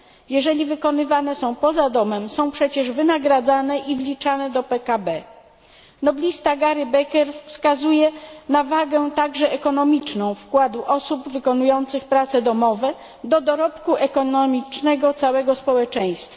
Jeżeli wykonywane są poza domem są przecież wynagradzane i wliczane do PKB. Noblista Gary Becker wskazuje na wagę także ekonomiczną wkładu osób wykonujących prace domowe do dorobku ekonomicznego całego społeczeństwa.